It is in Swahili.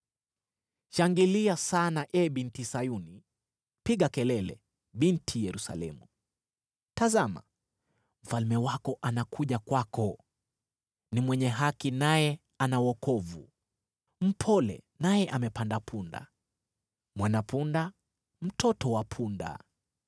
Shangilia sana, ee Binti Sayuni! Piga kelele, Binti Yerusalemu! Tazama, Mfalme wako anakuja kwako, ni mwenye haki, naye ana wokovu, ni mpole, naye amepanda punda, mwana-punda, mtoto wa punda.